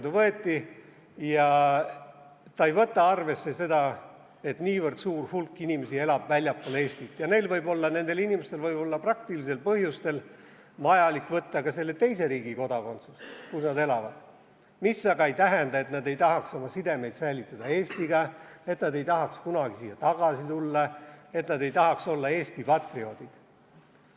See ei võta arvesse, et niivõrd suur hulk inimesi elab väljaspool Eestit ja nendel inimestel võib olla praktilistel põhjustel vajalik võtta ka selle teise riigi kodakondsus, kus nad elavad, mis aga ei tähenda, et nad ei tahaks säilitada oma sidemeid Eestiga, et nad ei tahaks kunagi siia tagasi tulla, et nad ei tahaks olla Eesti patrioodid.